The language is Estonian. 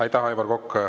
Aitäh, Aivar Kokk!